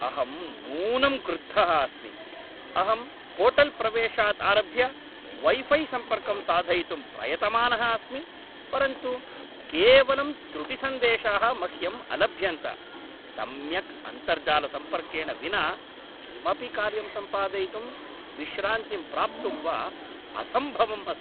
अहं नूनं क्रुद्धः अस्मि, अहं होटेल्प्रवेशात् आरभ्य वै फ़ै सम्पर्कं साधयितुं प्रयतमानः अस्मि, परन्तु केवलं त्रुटिसन्देशाः मह्यम् अलभ्यन्त, सम्यक् अन्तर्जालसम्पर्केण विना किमपि कार्यं सम्पादयितुं, विश्रान्तिं प्राप्तुं वा असम्भवम् अस्ति।